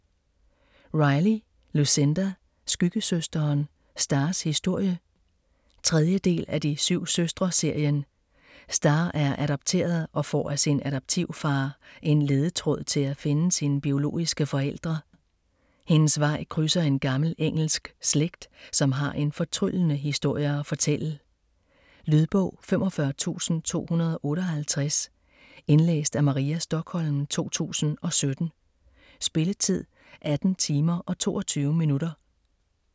Riley, Lucinda: Skyggesøsteren: Stars historie 3. del af De syv søstre-serien. Star er adopteret og får af sin adoptivfar en ledetråd til at finde sine biologiske forældre. Hendes vej krydser en gammel engelsk slægt, som har en fortryllende historie at fortælle. Lydbog 45258 Indlæst af Maria Stokholm, 2017. Spilletid: 18 timer, 22 minutter.